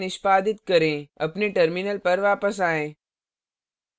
फिर से निष्पादित करें अपने terminal पर वापस आएँ